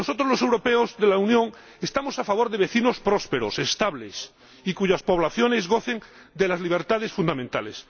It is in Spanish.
Nosotros, los europeos de la Unión, estamos a favor de vecinos prósperos, estables y cuyas poblaciones gocen de las libertades fundamentales.